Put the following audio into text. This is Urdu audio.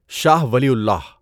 شاهٔ ولی اللہ